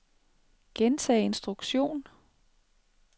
gentag instruktion